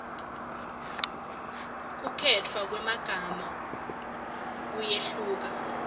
kukhetfwa kwemagama kuyehluka